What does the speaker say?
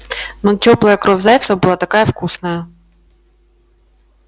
но тёплая кровь зайца была такая вкусная